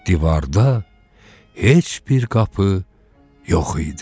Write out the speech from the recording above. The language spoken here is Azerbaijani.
Divarda heç bir qapı yox idi.